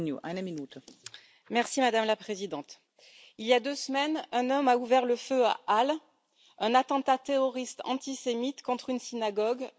Madame la Présidente, il y a deux semaines, un homme a ouvert le feu à Halle, commettant un attentat terroriste antisémite contre une synagogue, le jour de Yom Kippour.